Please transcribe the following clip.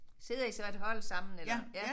Sidder I så et hold sammen eller ja